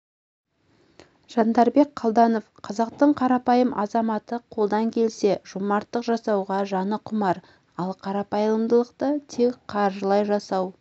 жандарбек қалданов қазақтың қарапайым азаматы қолдан келсе жомарттық жасауға жаны құмар ал қайырымдылықты тек қаржылай жасау